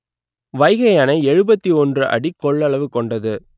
வைகை அணை எழுபத்தி ஒன்று அடி கொள்ளவு கொண்டது